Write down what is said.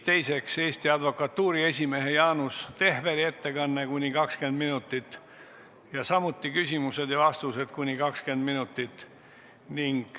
Teiseks on Eesti Advokatuuri esimehe Jaanus Tehveri ettekanne kuni 20 minutit ning samuti küsimused ja vastused kuni 20 minutit.